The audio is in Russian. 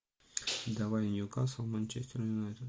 давай ньюкасл манчестер юнайтед